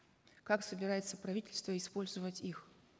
как собирается правительство использовать их